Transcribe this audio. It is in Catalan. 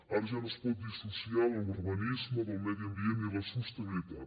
ara ja no es pot dissociar l’urbanisme del medi ambient i la sostenibilitat